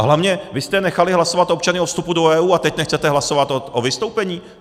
A hlavně, vy jste nechali hlasovat občany o vstupu do EU, a teď nechcete hlasovat o vystoupení?